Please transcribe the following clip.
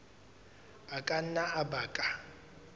a ka nna a baka